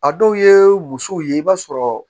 A dɔw ye musow ye i b'a sɔrɔ